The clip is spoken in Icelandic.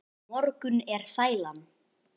Á morgun er sælan.